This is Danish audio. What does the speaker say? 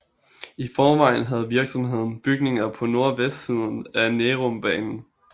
I forvejen havde virksomheden bygninger på nordvestsiden af Nærumbanen